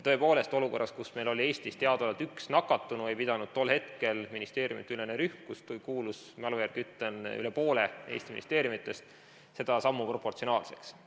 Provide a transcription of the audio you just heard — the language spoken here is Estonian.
Tõepoolest, olukorras, kus Eestis oli teadaolevalt üks nakatunu, ei pidanud ministeeriumideülene rühm, kuhu kuulus, mälu järgi ütlen, üle poole Eesti ministeeriumidest, tol hetkel seda sammu proportsionaalseks.